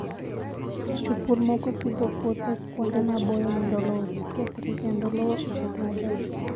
Jopur moko pidho puothe kuonde maboyo mondo lowo kik kethre kendo lowo obed maber.